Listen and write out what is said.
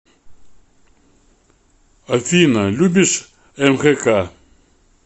афина любишь мхк